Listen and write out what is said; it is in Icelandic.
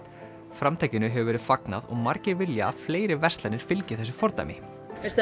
framtakinu hefur verið fagnað og margir vilja að fleiri verslanir fylgi þessu fordæmi